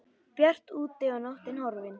Bjart úti og nóttin horfin.